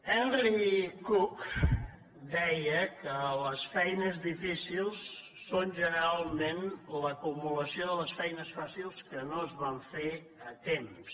henry cook deia que les feines difícils són generalment l’acumulació de les feines fàcils que no es van fer a temps